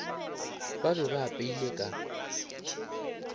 ba be ba apeile ka